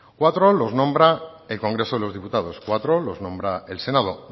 cuatro los nombra el congreso de los diputados cuatro los nombra el senado